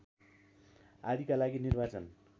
आदिका लागि निर्वाचन